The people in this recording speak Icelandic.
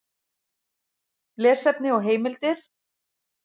Lesefni og heimildir: